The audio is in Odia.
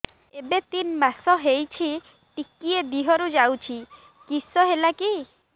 ଏବେ ତିନ୍ ମାସ ହେଇଛି ଟିକିଏ ଦିହରୁ ଯାଉଛି କିଶ ହେଲାକି